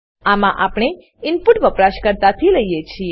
આમાં આપણે ઈનપુટ વપરાશકર્તાથી લઈએ છીએ